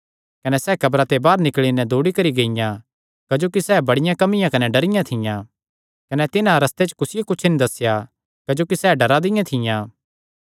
कने सैह़ कब्रा ते बाहर निकल़ी नैं दौड़ी करी गियां क्जोकि सैह़ बड़ियां कम्बियां कने डरियां थियां कने तिन्हां कुसियो कुच्छ नीं दस्सेया क्जोकि सैह़ डरा दियां थियां